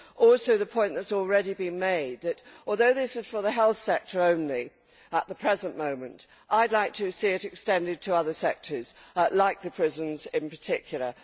Also the point which has already been made that although this is for the health sector only at the present moment I would like to see it extended to other sectors like the prisons in particular.